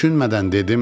Düşünmədən dedim: